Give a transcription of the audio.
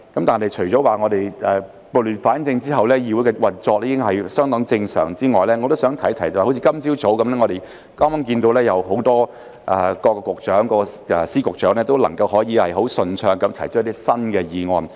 但是，除了說撥亂反正後議會的運作已經相當正常之外，我亦想提及，好像今天早上，我們剛剛看到各司局長都能夠很順暢地提出一些新議案。